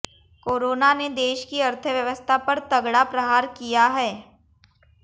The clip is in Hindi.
कोरोना ने देश की अर्थव्यवस्था पर तगड़ा प्रहार किया है